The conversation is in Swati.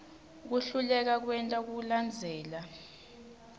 kuhluleka kwenta kulandzela